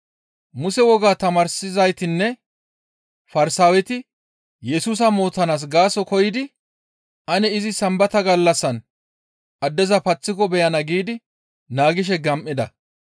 Muse wogaa tamaarsizaytinne Farsaaweti Yesusa mootanaas gaaso koyidi ane izi Sambata gallassan addeza paththiko beyana giidi naagishe gam7ida.